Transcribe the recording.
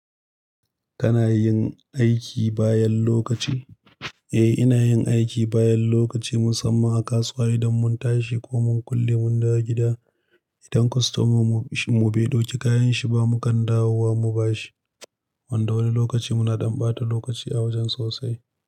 Kana yin aiki bayan lokaci? Eh, ina yin aiki bayan lokaci musamman a kasuwa idan mun tashi ko mun kulle mun dawo gida, idan kwastoman mu bai ɗauki kayanshi ba, mukan dawowa mu ba shi. Wanda wani lokaci muna ɗan ɓata lokaci a wajen sosai.